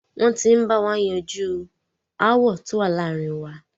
Wọ́n ti ń bá wa yanjú aáwọ̀ tó wà láàárin wa.